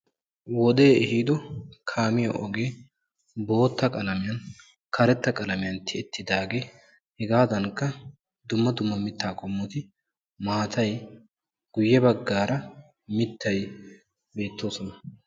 Wodee ehiido kaamiya ogee, bootta qalamiyan karetta qalamiyan tiyettiidaagee, hegaadankka dumma dumma mittaa qommoti, maatay guyye bagaara mittay beettoosona.